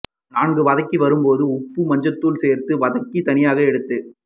நன்கு வதங்கி வரும்போது உப்பு மஞ்சள் தூள் சேர்த்து வதக்கி தனியாக எடுத்து